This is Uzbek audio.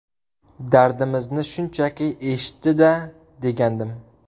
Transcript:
Dardimizni shunchaki eshitdi-da, degandim.